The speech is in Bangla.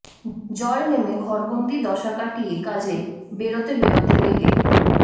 জল নেমে ঘরবন্দি দশা কাটিয়ে কাজে বেরোতে বেরোতে লেগে